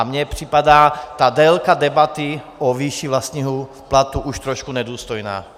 A mně připadá ta délka debaty o výši vlastního platu už trošku nedůstojná.